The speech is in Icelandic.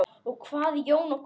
Og hvað Jón, og hvað?